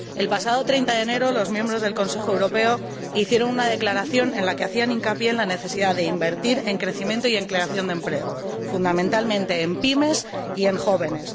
El pasado 30 de enero los miembros del Consejo Europeo hicieron una declaración en la que hacían hincapié en la necesidad de invertir en crecimiento y en creación de empleo, fundamentalmente en las PYME y entre los jóvenes.